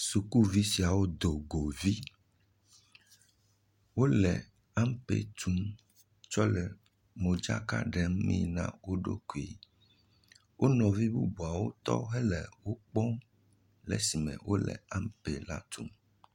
Sukuvi siawo dogo vi, wole ampe tum tsɔ le modzaka ɖemi na wo ɖo koe, wonɔvi bubuawo tɔ hele wo kpɔm le sime wole ampe la tum.